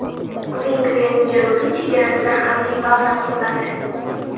Vengriyaning janubiy chegarasida harbiy baza quriladi.